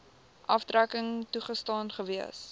aftrekking toegestaan gewees